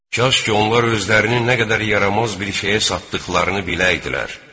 Kaş ki onlar özlərini nə qədər yaramaz bir şeyə satdıqlarını biləydilər.